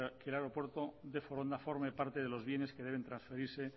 que el aeropuerto de foronda forme parte de los bienes que deben transferirse